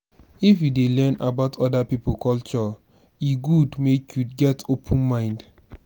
if you dey learn about oda pipo culture e good make you get open mind.